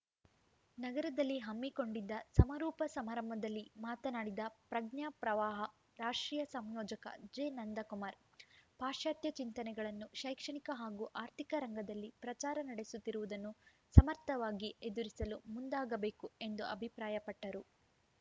ನಗರದಲ್ಲಿ ಹಮ್ಮಿಕೊಂಡಿದ್ದ ಸಮಾರೋಪ ಸಮಾರಂಭದಲ್ಲಿ ಮಾತನಾಡಿದ ಪ್ರಜ್ಞಾ ಪ್ರವಾಹ ರಾಷ್ಟ್ರೀಯ ಸಂಯೋಜಕ ಜೆನಂದಕುಮಾರ್‌ ಪಾಶ್ಚಾತ್ಯ ಚಿಂತನೆಗಳನ್ನು ಶೈಕ್ಷಣಿಕ ಹಾಗೂ ಆರ್ಥಿಕ ರಂಗದಲ್ಲಿ ಪ್ರಚಾರ ನಡೆಸುತ್ತಿರುವುದನ್ನು ಸಮರ್ಥವಾಗಿ ಎದುರಿಸಲು ಮುಂದಾಗಬೇಕು ಎಂದು ಅಭಿಪ್ರಾಯಪಟ್ಟರು